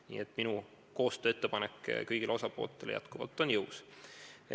Nii et minu koostööettepanek kõigile osapooltele on endiselt jõus.